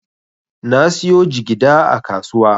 Na siyo jigida a kasuwa.